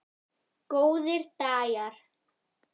Góðir dagar.